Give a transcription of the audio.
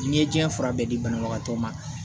N'i ye diɲɛ fura bɛɛ di banabagatɔ ma